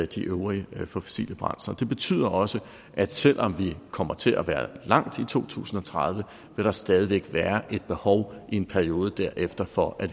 de øvrige fossile brændsler det betyder også at selv om vi kommer til at være langt i to tusind og tredive vil der stadig væk være et behov i en periode derefter for at